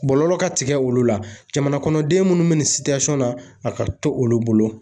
Bɔlɔlɔ ka tigɛ olu la jamanakɔnɔden minnu bɛ nin na a ka to olu bolo